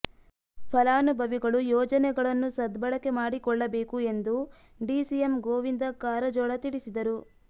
ಫಲಾನುಭವಿಗಳು ಯೋಜನೆಗಳನ್ನು ಸದ್ಬಳಕೆ ಮಾಡಿಕೊಳ್ಳಬೇಕು ಎಂದು ಡಿಸಿಎಂ ಗೋವಿಂದ ಕಾರಜೋಳ ತಿಳಿಸಿದರು